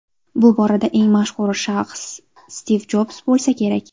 Bu borada eng mashhur shaxs Stiv Jobs bo‘lsa kerak.